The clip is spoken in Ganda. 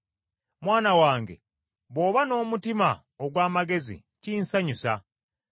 Mwana wange, bw’oba n’omutima ogw’amagezi, kinsanyusa.